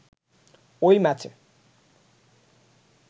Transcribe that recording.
ওই ম্যাচে